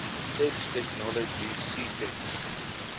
text technology ctext